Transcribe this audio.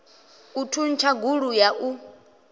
u thuntsha gulu ya u